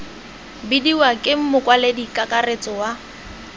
bidiwa ke mokwaledi kakaretso wa